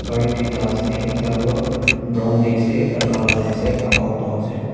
gari duita ase ekta toh brown de ase ekta kala de ase ekta alto ase.